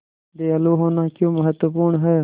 दयालु होना क्यों महत्वपूर्ण है